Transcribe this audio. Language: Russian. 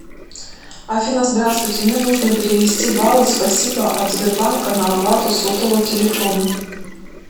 афина здравствуйте мне нужно перевести баллы спасибо от сбербанка на оплату сотового телефона